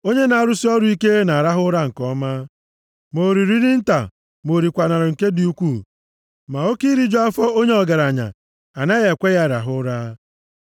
Onye na-arụsị ọrụ ike na-arahụ ụra nke ọma, ma o riri nri nta ma o rikwaranụ nke dị ukwuu, ma oke iriju afọ onye ọgaranya anaghị ekwe ya rahụ ụra.